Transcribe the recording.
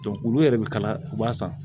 olu yɛrɛ bɛ kala u b'a san